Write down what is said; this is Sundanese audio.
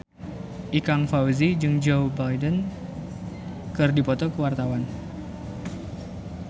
Ikang Fawzi jeung Joe Biden keur dipoto ku wartawan